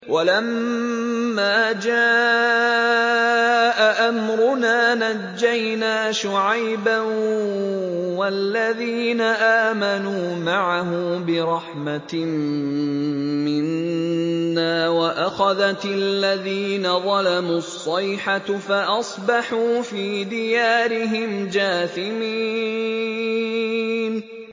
وَلَمَّا جَاءَ أَمْرُنَا نَجَّيْنَا شُعَيْبًا وَالَّذِينَ آمَنُوا مَعَهُ بِرَحْمَةٍ مِّنَّا وَأَخَذَتِ الَّذِينَ ظَلَمُوا الصَّيْحَةُ فَأَصْبَحُوا فِي دِيَارِهِمْ جَاثِمِينَ